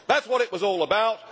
That was what it was all about.